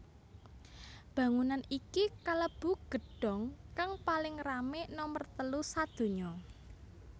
Bangunan iki kalebu gedhong kang paling rame nomer telu sadonya